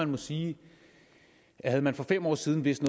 må sige at havde man for fem år siden vidst